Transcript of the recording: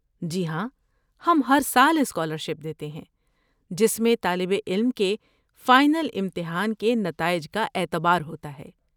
جی ہاں، ہم ہر سال اسکالرشپ دیتے ہیں جس میں طالب علم کے فائنل امتحان کے نتائج کا اعتبار ہوتا ہے۔